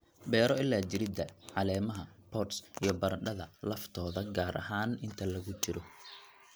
beero ilaa jiridda, caleemaha, pods iyo baradhada laftooda gaar ahaan inta lagu jiro